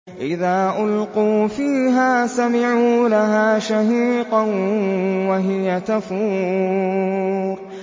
إِذَا أُلْقُوا فِيهَا سَمِعُوا لَهَا شَهِيقًا وَهِيَ تَفُورُ